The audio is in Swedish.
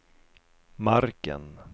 marken